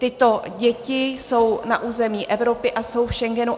Tyto děti jsou na území Evropy a jsou v Schengenu.